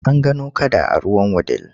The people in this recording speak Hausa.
An gano kada a ruwan Wudil.